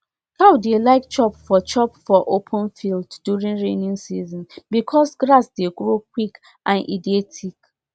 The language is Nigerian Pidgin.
everybody dey pay small money to take care of the place wey animal dey chop and the fence wey surround am.